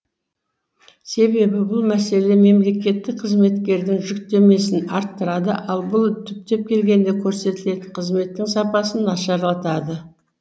себебі бұл мәселе мемлекеттік қызметкердің жүктемесін арттырады ал бұл түптеп келгенде көрсетілетін қызметтің сапасын нашарлатады